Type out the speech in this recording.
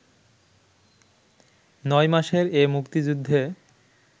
৯ মাসের এ মুক্তিযুদ্ধে